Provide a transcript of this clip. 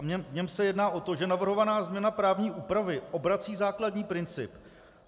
V něm se jedná o to, že navrhovaná změna právní úpravy obrací základní princip.